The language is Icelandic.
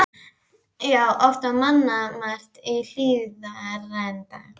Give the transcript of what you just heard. Já, oft var mannmargt í Hlíðarenda.